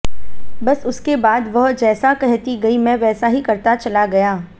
बस उसके बाद वह जैसा कहती गई मैं वैसा ही करता चला गया